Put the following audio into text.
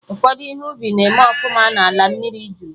Ụfọdụ ihe ubi na-eme ọfụma na ala mmiri jụrụ